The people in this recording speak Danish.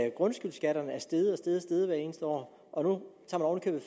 at grundskyldskatterne er steget og steget hvert eneste år og